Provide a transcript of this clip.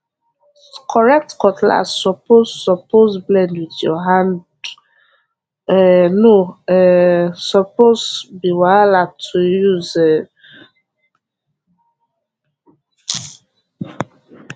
correct cutlass suppose suppose blend with your hande um no um suppose be wahala to use um